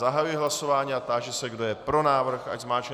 Zahajuji hlasování a táži se, kdo je pro návrh, ať zmáčkne...